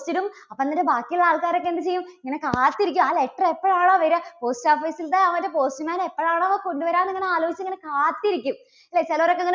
post ഇടും. അപ്പോ ഇങ്ങനെ ബാക്കിയുള്ള ആൾക്കാരൊക്കെ എന്ത് ചെയ്യും? ഇങ്ങനെ കാത്തിരിക്കും ആ letter എപ്പോഴാണോ വരിക? post office ൻറെ ആ ഒരു post man എപ്പോഴാണോ കൊണ്ടുവരിക എന്നിങ്ങനെ ആലോചിച്ച് ഇങ്ങനെ കാത്തിരിക്കും. അല്ലേ ചിലരൊക്കെ